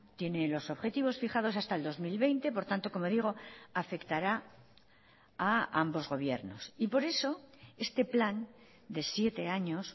tiene los objetivos fijados hasta el dos mil veinte por tanto como digo afectará a ambos gobiernos y por eso este plan de siete años